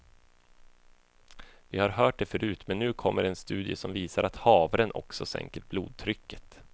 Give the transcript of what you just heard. Vi har hört det förut men nu kommer en studie som visar att havren också sänker blodtrycket.